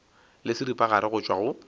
le seripagare go tšwa go